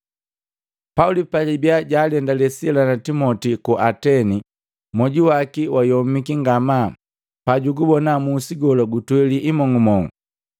Pauli pajabia jaalendale Sila na Timoti ku Ateni, moju waki wayomiki ngamaa pajugubona musi gola gutweli imong'umong'u.